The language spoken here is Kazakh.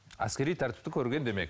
әскери тәртіпті көрген демек